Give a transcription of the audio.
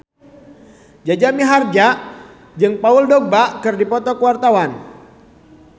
Jaja Mihardja jeung Paul Dogba keur dipoto ku wartawan